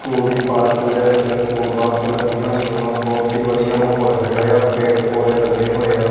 ਕੋਲ ਦੀ ਪਾਰਕਿੰਗ ਦੇ ਵਿੱਚ ਸਕੂਲ ਬੱਸ ਲੱਗੀਆਂ ਹੋਈਆਂ ਵਾਂ ਬਹੁਤ ਹੀ ਵਧੀਆ ਮਾਹੌਲ ਹੈਗਾ ਯਾ ਪੇੜ ਪੌਧੇ ਲੱਗੇ ਹੋਏ ਆ।